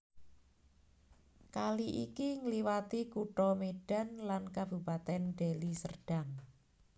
Kali iki ngliwati Kutha Medan lan Kabupaten Deli Serdang